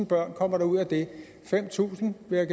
børn kommer der ud af det fem tusind vil